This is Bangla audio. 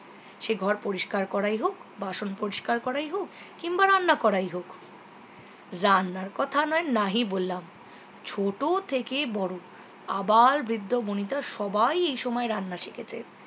সে ঘর পরিষ্কার করাই হোক বাসন পরিষ্কার করাই হোক কিংবা রান্না করাই হোক রান্নার কথা নাহয় নাই বললাম ছোট থেকে বড়ো আবার বৃদ্ধ বনিতা সবাই এই সময় রান্না শিখেছে